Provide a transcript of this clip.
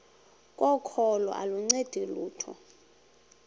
kokholo aluncedi lutho